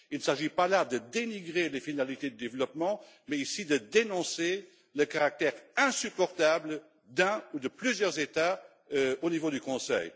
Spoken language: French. Il ne s'agit pas là de dénigrer les finalités du développement mais de dénoncer le comportement insupportable d'un ou de plusieurs États au niveau du Conseil.